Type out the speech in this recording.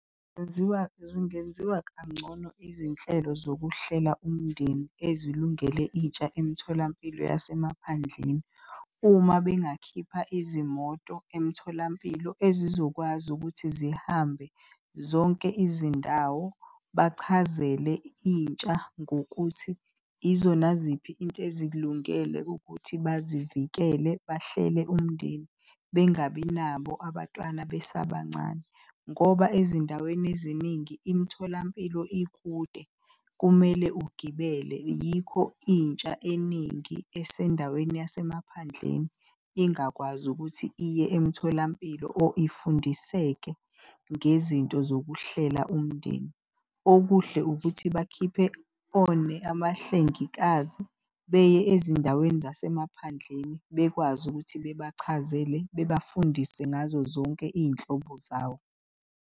Zenziwa zingenziwa kangcono izinhlelo zokuhlela umndeni ezilungele intsha emtholampilo yasemaphandleni. Uma bengakhipha izimoto emtholampilo ezizokwazi ukuthi zihambe zonke izindawo. Bachazele intsha ngokuthi izona ziphi into ezikulungele ukuthi bazivikele bahlele umndeni, bengabi nabo abantwana besabancane ngoba ezindaweni eziningi imitholampilo ikude, kumele ugibele. Yikho intsha eningi esendaweni yasemaphandleni ingakwazi ukuthi iye emtholampilo or ifundiseke ngezinto zokuhlela umndeni. Okuhle ukuthi bakhiphe abahlengikazi beye ezindaweni zasemaphandleni bekwazi ukuthi bebachazele bebafundise ngazo zonke iy'nhlobo zawo.